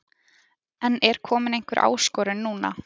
En er komin einhver áskorun núna?